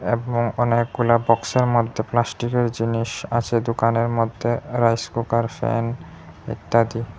এবং অনেকগুলা বক্সের মধ্যে প্লাস্টিকের জিনিস আছে দোকানের মধ্যে রাইস কুকার ফ্যান ইত্যাদি।